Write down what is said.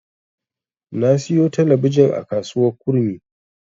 Na siyo talabijin a kasuwar Kurmi.